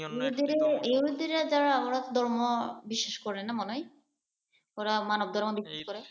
ইহুদীরা যারা আমার ধর্ম বিশ্বাস করে না মনে হয়। ওরা মানব ধর্ম বিশ্বাস করে।